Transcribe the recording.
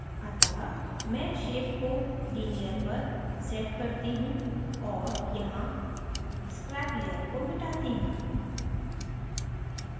अतः मैं shape को linear पर set करती हूँ और यहाँ scrap layer को मिटाती हूँ